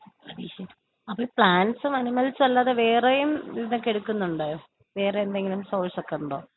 അപ്പൊ പ്ലാന്റ്സും അനിമൽസും അല്ലാതെ വേറെയും ഇതൊക്കെ എടുക്കുന്നുണ്ടോ? വേറെ എന്തെങ്കിലും സോഴ്സ് ഒക്കെയുണ്ടോ?